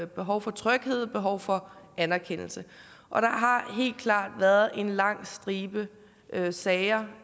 behov for tryghed behov for anerkendelse og der har helt klart været en lang stribe sager